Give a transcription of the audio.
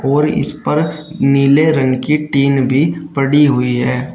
और इस पर नीले रंग की टिन भी पड़ी हुई है।